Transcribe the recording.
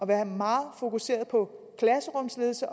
være meget fokuseret på klasserumsledelse